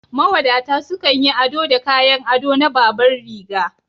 Mawadata sukan yi ado da kayan ado na babanriga